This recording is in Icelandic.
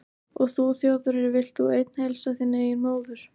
Og þú Þjóðverji, vilt þú einn heilsa þinni eigin móður